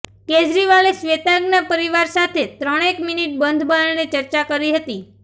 કેજરીવાલે શ્વેતાંગના પરિવાર સાથે ત્રણેક મિનિટ બંધબારણે ચર્ચા કરી હતી